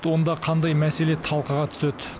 онда қандай мәселе талқыға түседі